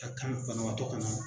Ka kan banabaatɔ ka na